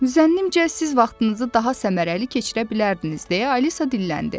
Zənnimcə siz vaxtınızı daha səmərəli keçirə bilərdiniz deyə Alisa dilləndi.